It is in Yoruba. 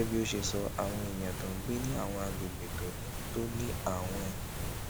gégé bí ó ṣe sọ àwọn èèyàn tó ń gbé ní àwọn àgbègbè tó ní tó ní àwọn